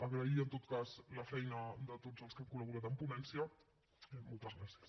agrair en tot cas la feina de tots els que hem colen ponència i moltes gràcies